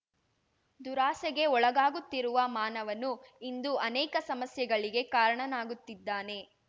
ದುರಾಸೆಗೆ ಒಳಗಾಗುತ್ತಿರುವ ಮಾನವನು ಇಂದು ಅನೇಕ ಸಮಸ್ಯೆಗಳಿಗೆ ಕಾರಣನಾಗುತ್ತಿದ್ದಾನೆ